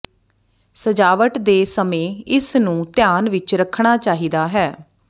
ਸਜਾਵਟ ਦੇ ਸਮੇਂ ਇਸ ਨੂੰ ਧਿਆਨ ਵਿੱਚ ਰੱਖਣਾ ਚਾਹੀਦਾ ਹੈ